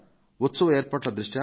ఉత్సవ ఏర్పాట్ల దృష్ట్యా